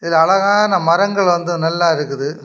இதுல அழகான மரங்கள் வந்து நல்லா இருக்குது.